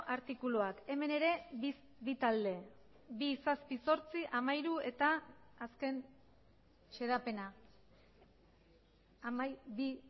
artikuluak hemen ere bi talde bi zazpi zortzi hamairu eta azken xedapena bi